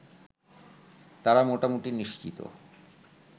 তারা মোটামুটি নিশ্চিত